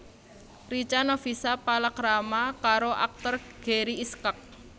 Richa Novisha palakrama karo aktor Gary Iskak